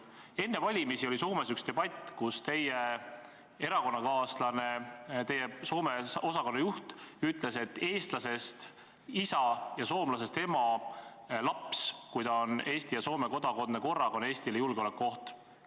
Enne valimisi oli Soomes üks debatt, kus teie erakonnakaaslane, teie Soome osakonna juht ütles, et eestlasest isa ja soomlasest ema laps on, kui ta on Eesti ja Soome kodanik korraga, Eestile julgeolekuoht.